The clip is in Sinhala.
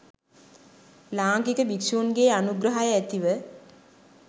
ලාංකික භික්‍ෂූන්ගේ අනුග්‍රහය ඇතිව